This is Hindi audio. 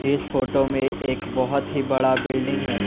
इस फोटो में एक बहुत ही बड़ा बिल्डिंग है।